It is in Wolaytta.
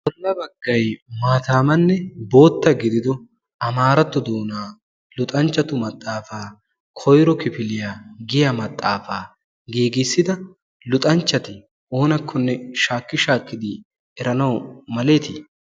bolla baggay maataamanne bootta gidido amaarattu doonaa luxanchchatu maxaafaa koyro kifiliyaa giya maxaafaa giigissida luxanchchati oonakkonne shaakki shaakkidi eranau maletii?